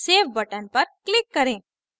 save button पर click करें